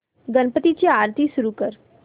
गणपती ची आरती सुरू कर